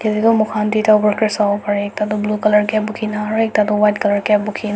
moikhan toita workers sabo pare ekta to blue colour cap bukina aro ekta toh white colour cap bukina.